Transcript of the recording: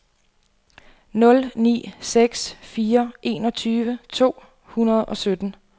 nul ni seks fire enogtyve to hundrede og sytten